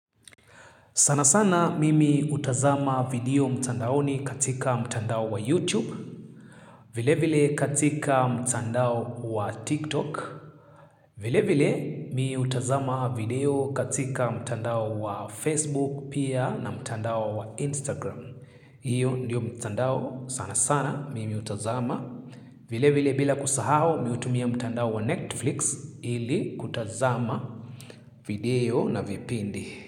Sana sana mimi hutazama video mtandaoni katika mtandao wa YouTube. Vile vile katika mtandao wa TikTok. Vile vile mi hutazama video katika mtandao wa Facebook pia na mtandao wa Instagram. Iyo ndiyo mtandao sana sana mimi hutazama. Vile vile bila kusahau mi hutumia mtandao wa Netflix ili kutazama video na vipindi.